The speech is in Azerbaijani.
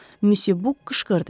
Müsyo Buk qışqırdı.